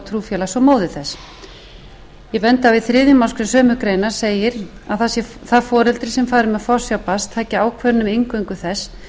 trúfélags og móðir þess ég bendi á að í þriðju málsgrein sömu greinar segir að það foreldri sem fari með forsjá barns taki ákvörðun um inngöngu þess